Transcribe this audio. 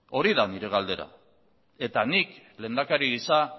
hori da nire galdera eta nik lehendakari gisa